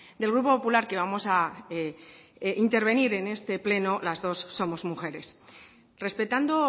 del grupo popular que vamos a intervenir en este pleno las dos somos mujeres respetando